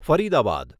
Faridabad